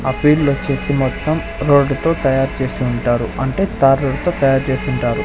ఆ ఫీల్డొచ్చేసి మొత్తం రోడ్డు తో తయారు చేసి ఉంటారు. అంటే తార్ రోడ్డు తో తయారు చేసి ఉంటారు.